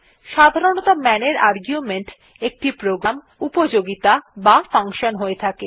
সাধারণতঃ man এর argument একটি প্রোগ্রাম উপযোগীতা বা ফাঙ্কশন হয়ে থাকে